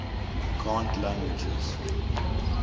cant languages